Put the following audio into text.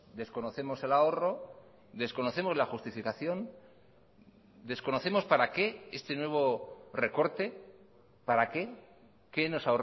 desconocemos el ahorro desconocemos la justificación desconocemos para qué este nuevo recorte para qué qué nos